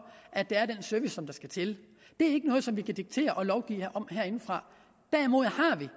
at der er den service som der skal til det er ikke noget som vi kan diktere og lovgive om herindefra derimod har vi